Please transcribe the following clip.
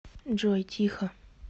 джой тихо